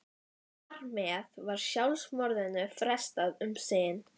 Þar með var sjálfsmorðinu frestað um sinn.